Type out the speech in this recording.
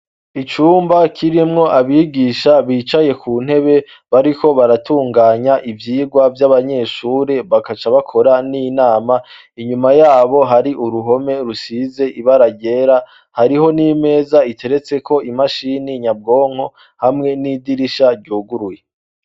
Icumba kirimwo abigisha bicaye ku ntebe bariho baratunganya ivyirwa vy'abanyeshure bagaca bakora n'inama inyuma yabo hari uruhome rusize ibara ryera hariho n'imeza iteretse ko imashini nyabwonko hamwe n'idirisha ryuguruye.